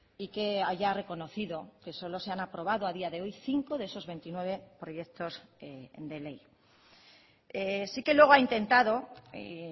y que haya reconocido que solo se han aprobado a día de hoy cinco de esos veintinueve proyectos de ley sí que luego ha intentado y